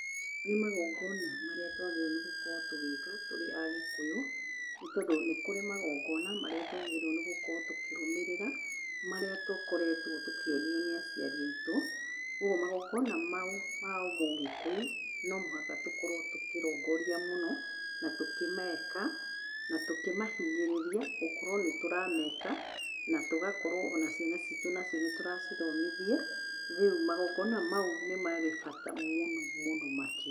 Nĩ magongoona marĩa twagĩrĩirwo nĩ gũkorwo tũgĩĩka tũrĩ Agĩkũyũ, nĩ tondũ nĩ kũrĩ magongoona marĩa twagĩrĩirwo nĩ gũkorwo tũkĩrũmĩrĩra, marĩa tũkoretwo tũkĩonio nĩ aciari aitũ. Kwoguo magongoona mau ma ũmũgĩkũyũ, no mũhaka tũkorwo tũkĩrũngũria mũno na tũkĩmeeka na tũkĩmahinyĩrĩria gũkorwo nĩ tũrameeka, na tũgakorwo o na ciana ciitũ nĩ tũracithomithia. Rĩu magongoona mau nĩ marĩ bata mũno mũno makĩria.